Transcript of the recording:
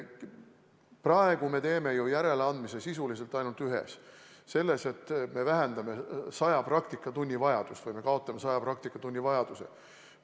Praegu me teeme järeleandmise sisuliselt ainult ühes: selles, et me leevendame 100 praktikatunni vajadust ehk kaotame 100 praktikatunni vajaduse.